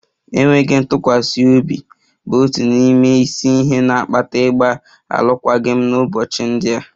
Enweghị ntụkwasị obi bụ otu n'ime isi ihe na-akpata ịgba alụkwaghịm n'ụbọchị ndị a